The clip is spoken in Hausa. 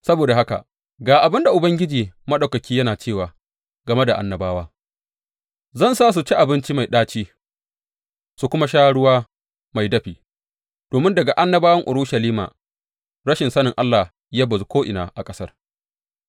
Saboda haka, ga abin da Ubangiji Maɗaukaki yana cewa game da annabawa, Zan sa su ci abinci mai ɗaci su kuma sha ruwa mai dafi, domin daga annabawan Urushalima rashin sani Allah ya bazu ko’ina a ƙasar.